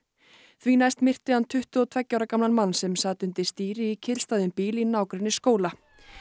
því næst myrti hann tuttugu og tveggja ára gamlan mann sem sat undir stýri í kyrrstæðum bíl í nágrenni skóla